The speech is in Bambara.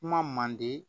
Kuma mandi